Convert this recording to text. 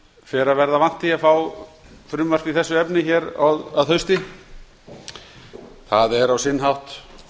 fer að verða vant því að fá frumvarp í þessu efni hér að hausti það er á sinn hátt